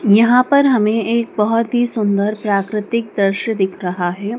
यहां पर हमे एक बहुत ही सुंदर प्राकृतिक दृश्य दिख रहा है।